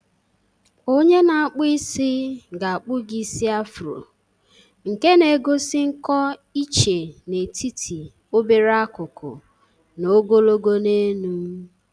Onye na-akpụ isi ga-akpu gi isi Afro, nke na egosi nkọ iche n'etiti obere akụkụ na ogologo n'elu.